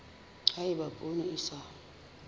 ha eba poone e sa